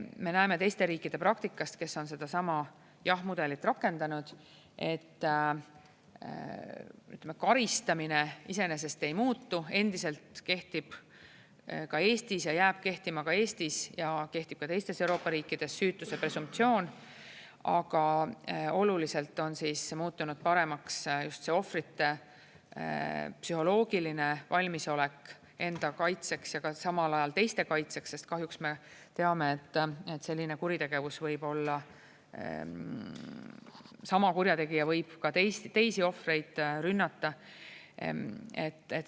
Me näeme teiste riikide praktikast, kes on sedasama jah-mudelit rakendanud, et, ütleme, karistamine iseenesest ei muutu, endiselt kehtib ka Eestis ja jääb kehtima ka Eestis ja kehtib ka teistes Euroopa riikides süütuse presumptsioon, aga oluliselt on muutunud paremaks just ohvrite psühholoogiline valmisolek enda kaitseks ja ka samal ajal teiste kaitseks, sest kahjuks me teame, et selline kuritegevus võib olla, sama kurjategija võib ka teisi ohvreid rünnata.